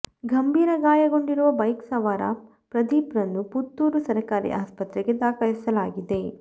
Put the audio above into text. ಗಂಭೀರ ಗಾಯಗೊಂಡಿರುವ ಬೈಕ್ ಸವಾರ ಪ್ರದೀಪ್ರನ್ನು ಪುತ್ತೂರು ಸರಕಾರಿ ಆಸ್ಪತ್ರೆಗೆ ದಾಖಲಿಸಲಾಗಿದೆ